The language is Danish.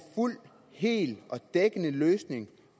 fuld hel og dækkende løsning